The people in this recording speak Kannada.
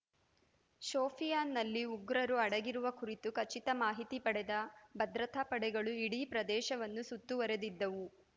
ಶೋಪಿಯಾನ್‌ನಲ್ಲಿ ಉಗ್ರರು ಅಡಗಿರುವ ಕುರಿತು ಖಚಿತ ಮಾಹಿತಿ ಪಡೆದ ಭದ್ರತಾ ಪಡೆಗಳು ಇಡೀ ಪ್ರದೇಶವನ್ನು ಸುತ್ತುವರೆದಿದ್ದವು